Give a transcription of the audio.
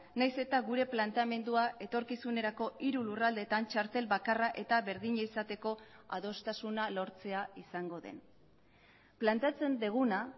nahiz eta gure planteamendua etorkizunerako hiru lurraldetan txartel bakarra eta berdina izateko adostasuna lortzea izango den planteatzen duguna